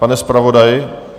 Pane zpravodaji?